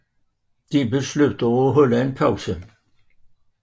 De beslutter at holde en pause